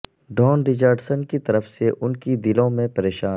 Dawn Richardson کی طرف سے ان کے دلوں میں پریشان